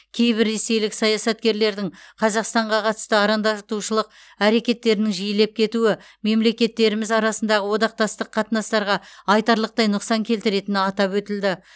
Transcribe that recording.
кейбір ресейлік саясаткерлердің қазақстанға қатысты арандатушылық әрекеттерінің жиілеп кетуі мемлекеттеріміз арасындағы одақтастық қатынастарға айтарлықтай нұқсан келтіретіні атап өтілді